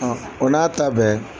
O n'a ta bɛɛ